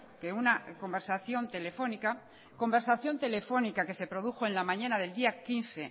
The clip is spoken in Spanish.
que una conversación telefónica conversación telefónica que se produjo en la mañana del día quince